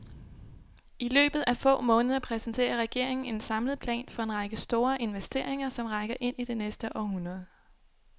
I løbet af få måneder præsenterer regeringen en samlet plan for en række store investeringer, som rækker ind i det næste århundrede.